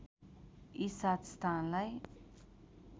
यी सात स्थानलाई